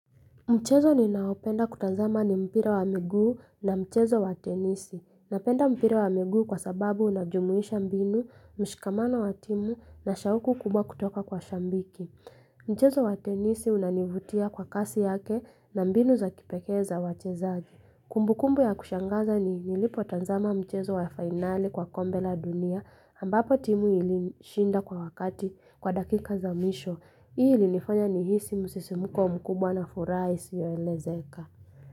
Mchezo ninaopenda kutanzama ni mpira wa miguu na mchezo wa tenisi. Napenda mpira wa miguu kwa sababu unajumuisha mbinu, mshikamana wa timu na shawuku kubwa kutoka kwa shambiki. Mchezo wa tenisi unanivutia kwa kasi yake na mbinu za kipekeza wa chezaji. Kumbu kumbu ya kushangaza ni nilipotanzama mchezo wa finali kwa kombe la dunia ambapo timu ilishinda kwa wakati kwa dakika za misho. Hii lilifanya ni hisi musesimuko mkubwa na furaisi ya elezeka.